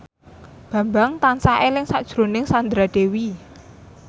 Bambang tansah eling sakjroning Sandra Dewi